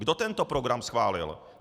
Kdo tento program schválil?